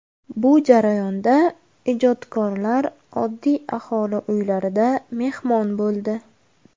Bu jarayonda ijodkorlar oddiy aholi uylarida mehmon bo‘ldi.